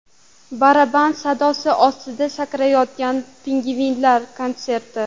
Baraban sadosi ostida sakrayotgan pingvinlar konserti.